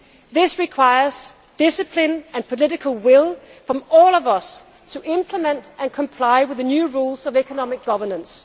This requires discipline and political will from all of us to implement and comply with the new rules of economic governance.